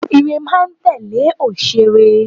Ìre máa n tèlé onísé ire